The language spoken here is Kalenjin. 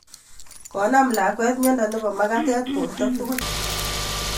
Konam lakwet miondo nebo makatet borto tugul